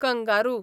kangaroo